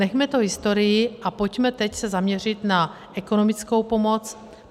Nechme to historii a pojďme se teď zaměřit na ekonomickou pomoc.